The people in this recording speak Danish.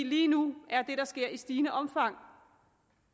lige nu er det der sker i stigende omfang